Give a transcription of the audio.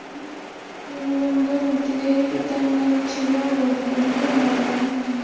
দীনবন্ধু মিত্রের পিতার নাম ছিল গন্ধর্ব নারায়ন।